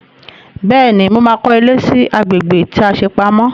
Bẹ́ẹ̀ni, mo ma kọ́lé sí agbègbè tí a ṣe pamọ́